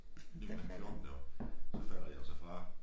Lige mellem 14 deroppe så falder de altså fra